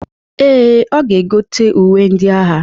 Ee, ọ ga-egote uwe ndị agha.